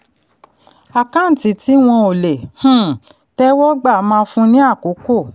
àkáǹtí tí wọ́n ò le um tẹ́wọ́ gbà máa fún ni àkókò.